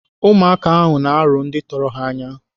Ụmụaka ahụ na-arụ ndị tọrọ ha anya.